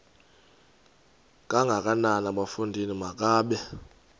kangakanana bafondini makabe